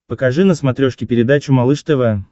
покажи на смотрешке передачу малыш тв